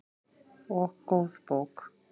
Og góð bók.